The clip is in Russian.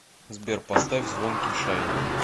сбер поставь звонкий шайн